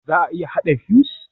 Za a iya haɗa fuse?